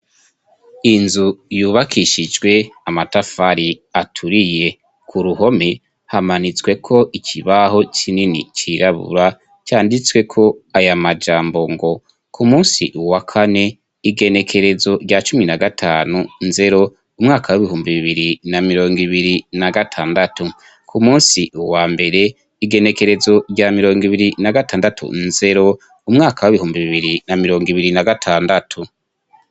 Inzu yubakishijwe amatafari aturiye ku ruhome hamanisweko ikibaho cinini cirabura canditsweko aya majambo ngo ku musi uwa kane igenekerezo rya cumi na gatanu nzero umwaka w'ibihumbi bibiri na mirongo ibiri na gata andatu ku musi uu wa mbere igenekerezo rya mirongo ibiri na gatandatu nzero umwaka w'ibihumbi bibiri na mirongo ibiri na gatandatu.